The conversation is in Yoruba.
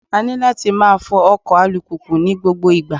A ní láti máa fọ ọkọ̀ alùpùpù ní gbogbo ìgbà.